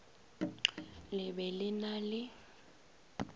le be le na le